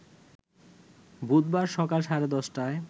বুধবার সকাল সাড়ে ১০টায়